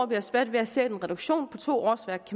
vi har svært ved at se at en reduktion på to årsværk